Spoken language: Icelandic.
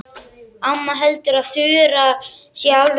Amma heldur að Þura sé alveg eins og hún sjálf.